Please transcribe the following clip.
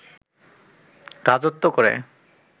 রাজত্ব করে